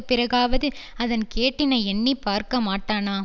பிறகாவது அதன் கேட்டினை எண்ணி பார்க்க மாட்டானா